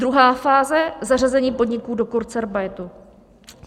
Druhá fáze: zařazení podniků do kurzarbeitu.